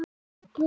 Fléttur í hnakka.